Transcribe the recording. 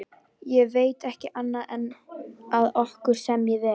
Ég veit ekki annað en að okkur semji vel.